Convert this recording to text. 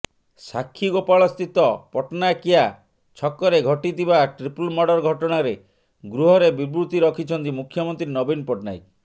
ସାକ୍ଷୀଗୋପାଳ ସ୍ଥିତ ପଟ୍ଟନାୟିକିଆ ଛକରେ ଘଟିଥିବା ଟ୍ରିପଲ ମର୍ଡର ଘଟଣାରେ ଗୃହରେ ବିବୃତ୍ତି ରଖିଛନ୍ତି ମୁଖ୍ୟମନ୍ତ୍ରୀ ନବୀନ ପଟ୍ଟନାୟକ